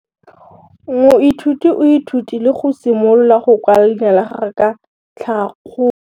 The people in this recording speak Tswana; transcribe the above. Moithuti o ithutile go simolola go kwala leina la gagwe ka tlhakakgolo.